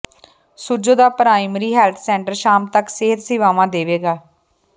ਸੁੱਜੋਂ ਦਾ primary health centre ਸ਼ਾਮ ਤੱਕ ਸਿਹਤ ਸੇਵਾਵਾਂ ਦੇਵੇਗਾ